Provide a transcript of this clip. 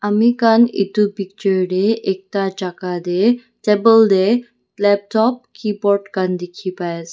ami khan itu picture deh ekta jaka deh table deh laptop keyboard khan dikhi pai ase.